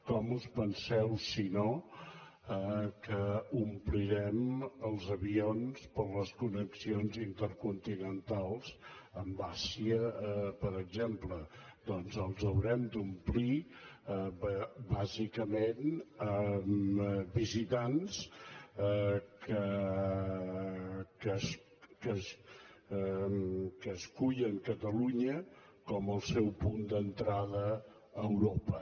com us penseu si no que ompli·rem els avions per a les connexions intercontinentals amb l’àsia per exemple doncs els haurem d’omplir bàsicament amb visitants que escullen catalunya com el seu punt d’entrada a europa